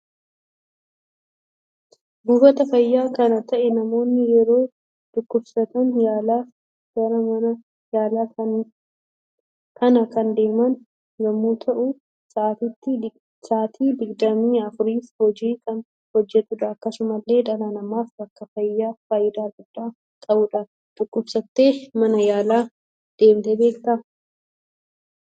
Buufata faayyaa kan ta'e namoonni yeroo dhukkubsatan yaalaaf gara mana yaala kana kan deeman yemmuu ta'u sa'aatii digdamii afuuriif hojii kan hojjetudha. Akkasumallee dhala namaf bakka faayida gudda qabudha. dhukkubsatte mana yaala deemte beekta?